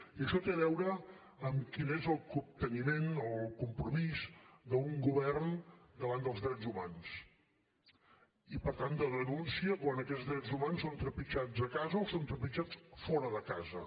i això té a veure amb quin és el capteniment o el compromís d’un govern davant dels drets humans i per tant de denúncia quan aquests drets humans són trepitjats a casa o són trepitjats fora de casa